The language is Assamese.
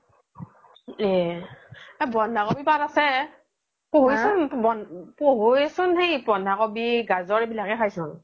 এহ বন্ধা কবিৰ পাত আছে , পহুয়ে চোন বন্ধা কবি, গাজৰ এই বিলাক হে খাই চোন